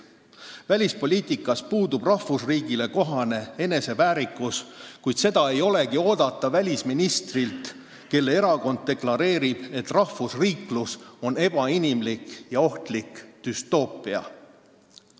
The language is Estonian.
Välispoliitikas puudub rahvusriigile kohane eneseväärikus, ehkki seda ei olegi oodata välisministrilt, kelle erakond deklareerib, et rahvusriiklus on ebainimlik ja ohtlik düstoopia.